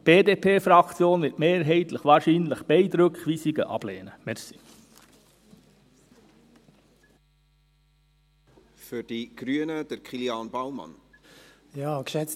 Die BDP-Fraktion wird wahrscheinlich beide Rückweisungen mehrheitlich ablehnen.